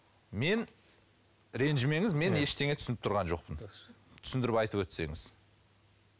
мен ренжімеңіз мен ештеңе түсініп тұрған жоқпын түсіндіріп айтып өтсеңіз